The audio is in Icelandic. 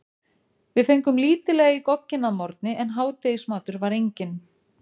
Við fengum lítillega í gogginn að morgni en hádegismatur var enginn.